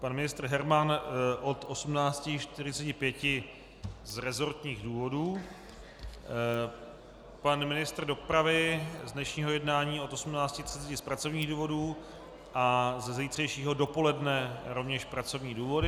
Pan ministr Herman od 18.45 z resortních důvodů, pan ministr dopravy z dnešního jednání od 18.30 z pracovních důvodů a ze zítřejšího dopoledne rovněž pracovní důvody.